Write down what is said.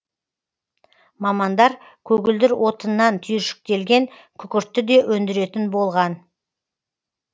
мамандар көгілдір отыннан түйіршіктелген күкіртті де өндіретін болған